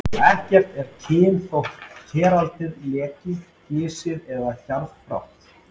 Ekkert er kyn þótt keraldið leki, gisið og gjarðfátt.